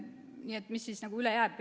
Nii et mis siis üle jääb?